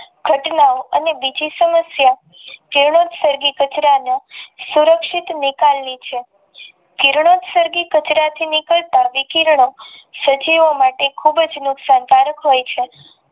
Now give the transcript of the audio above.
ઘટનાઓ અને બીજી સમસ્યા જીવં સર્ગી કચરામાં સુરક્ષિત નિકાલની છે કિરણોસર્ગી કચરા થી નીકર્તા વિકિરણો સજીવો માટે ખુબ જ નુકસાન કારક હોય છે.